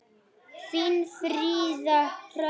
Þín, Fríða Hrönn.